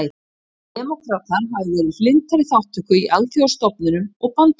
Demókratar hafa verið hlynntari þátttöku í alþjóðastofnunum og bandalögum.